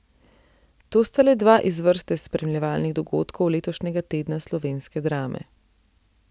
To sta le dva iz vrste spremljevalnih dogodkov letošnjega Tedna slovenske drame.